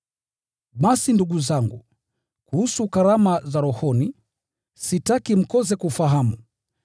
Basi ndugu zangu, kuhusu karama za rohoni, sitaki mkose kufahamu.